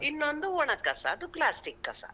ಇನ್ನೊಂದು ಒಣ ಕಸ, ಅದು plastic ಕಸ.